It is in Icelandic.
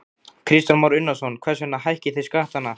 Kristján Már Unnarsson: Hvers vegna hækkið þið skattana?